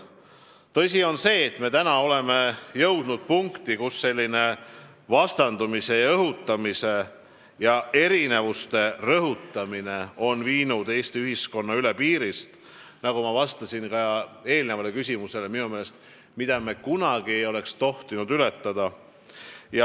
Tõsi on see, et me oleme jõudnud punkti, kus selline vastandumine, vaenu õhutamine ja erinevuste rõhutamine on viinud Eesti ühiskonna üle piirist, mida me minu meelest ei oleks tohtinud kunagi ületada, nagu ma ka eelmisele küsimusele vastasin.